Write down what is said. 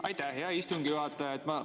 Aitäh, hea istungi juhataja!